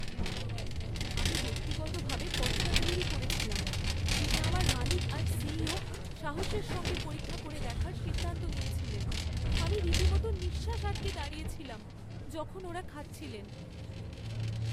আমি ব্যক্তিগতভাবে পদটা তৈরি করেছিলাম, যেটা আমার মালিক আর সিইও সাহসের সঙ্গে পরীক্ষা করে দেখার সিদ্ধান্ত নিয়েছিলেন। আমি রীতিমতো নিঃশ্বাস আটকে দাঁড়িয়েছিলাম, যখন ওঁরা খাচ্ছিলেন।